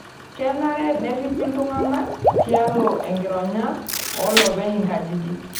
Kenare nerripi iltung'ana tialo enkironya oolopeny nkajijik.